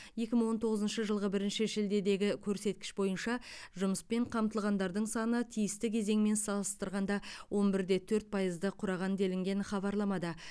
екі мың он тоғызыншы жылғы бірінші шілдедегі көрсеткіш бойынша жұмыспен қамтылғандардың саны тиісті кезеңмен салыстырғанда он бір де төрт пайызды құраған делінген хабарламада